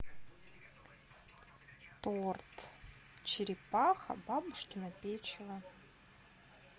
торт черепаха бабушкино печево